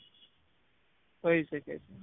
થઇ શકે છે